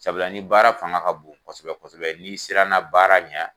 Sabula ni baara fanga ka bon kosɛbɛ kosɛbɛ n'i sira na baara ɲɛ